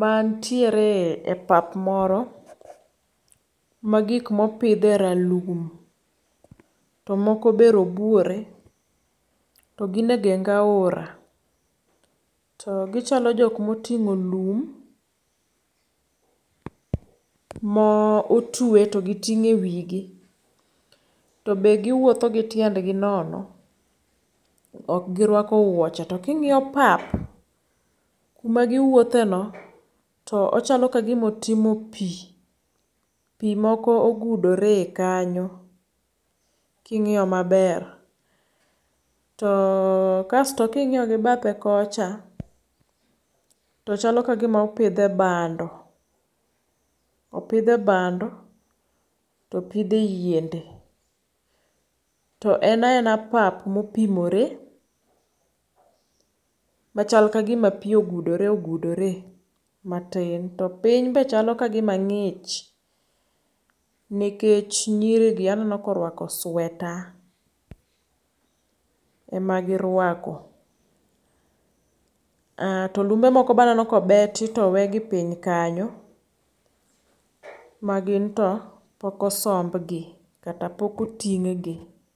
mantiere e pap moro ma gik mopidhe ralum, to moko be robuore. To gin e genga aora. To gichalo jok moting'o lum mo otwe to giting'o e wi gi. To be giwuotho gi tiend gi nono. Ok girwako wuoche. To king'iyo pap magiwuothe no to ochalo ka gimotimo pi. Pi moko ogudore kanyo king'iyo maber. To kasto king'iyo gi bathe kocha to chalo kagima opidhe bando. Opidhe bando topidhe yiende. To en a ena pap mopimore machal kagima pi ogudore ogudore matin. To piny be chalo kagima ng'ich nikech nyiri gi aneno ka orwako sweta ema girwako. To lumbe moko be aneno kobeti towe gi piny kanyo ma gin to pok osomb gi kata pok oting' gi.